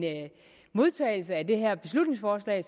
modtagelse af det her beslutningsforslag